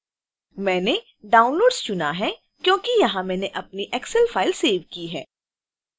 मैंने downloads चुना है क्योंकि यहाँ मैंने अपनी excel file सेव की है